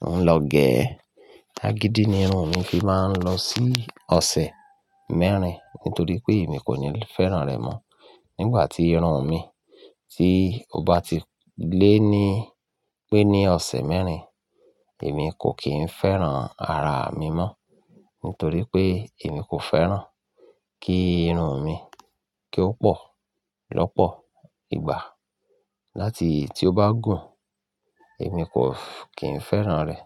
mò ń lọ gẹ. Agídí ni irun mi fi máa ń lọ sí ọ̀sẹ̀ mẹ́rin kí ó tó dì pé èmi kò ní fẹ́ràn rẹ̀ mọ́. Nígbà tí irun mi tí ó bá ti lé ní pé ní ọ̀sẹ̀ mẹ́rin, èmi kò kí ń fẹ́ràn ara mi mọ́ nítorí pé èmi kò fẹ́ràn kí irun mi kí ó pọ̀ lọ́pọ̀ ìgbà. Láti tí ó bá gùn, èmi kò kí ń fẹ́ràn rẹ̀.